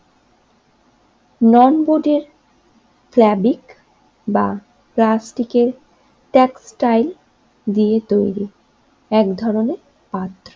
নন বোর্ডের ফেভিক বা প্লাস্টিকের টেক্সটাইল দিয়ে তৈরি এক ধরনের আর্ট